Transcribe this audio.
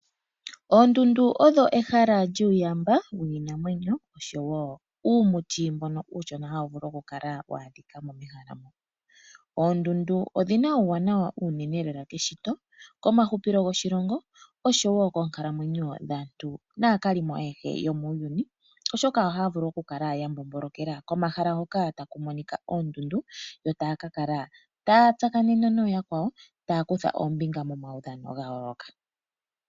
Oondundu odho ehala lyuuyamba wiinamwenyo oshowo uumuti mbono uushona hawu vulu okukala wa adhika mehala moka. Oondundu odhi na uuwanawa owindji keshito, komahupilo goshilongo oshowo koonkalamwenyo dhaantu naakalimo ayehe yomuuuni, oshoka ohaa vulu okukala ya mbombolokela komahala hoka haku monika oondundu yo taya ka kala taya tsakanene nooyakwawo taya kutha ombinga momaudhano ga yooloka.